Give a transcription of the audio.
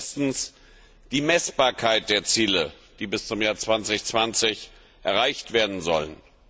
Erstens die Messbarkeit der Ziele, die bis zum Jahr 2020 erreicht werden sollen.